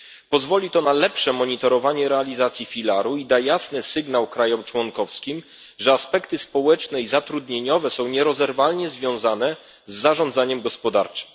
Pozwoli to na lepsze monitorowanie realizacji założeń filaru i da jasny sygnał krajom członkowskim, że aspekty społeczne i zatrudnieniowe są nierozerwalnie związane z zarządzaniem gospodarczym.